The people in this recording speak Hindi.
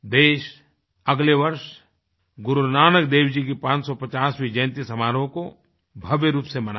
देश अगले वर्ष गुरु नानक देव जी की 550वीं जयंती समारोह को भव्य रूप से मनायेगा